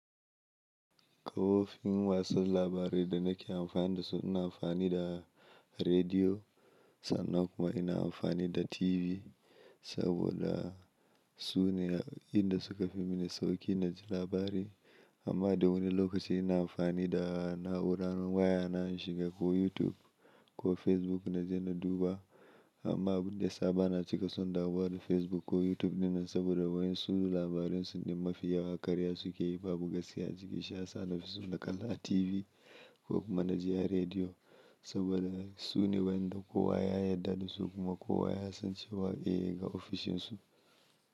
Kofofin wasu labarai da nake amfani da su ina amfani da rediyo, sannan kuma ina amfani da TV saboda su ne inda suka fi mini sauƙi na ji labarai. Amma dawani lokacin ina amfani da na'urar waya na in shiga ko YouTube ko Facebook na je na duba. Amma abin da saba na cika son dawo da Facebook ko YouTube ne saboda wayen su su labaransu ne mafi yawa, karya suke yi, babu gaskiya ciki. Sha sa na fi so na kalla a TV ko kuma na ji a rediyo saboda su ne wayanda kowa ya yarda da su kuma kowa ya san cewa eh ga ofishinsu.